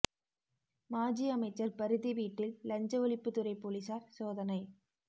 மாஜி அமைச்சர் பரிதி வீட்டில் லஞ்ச ஒழிப்பு துறை போலீசார் சோதனை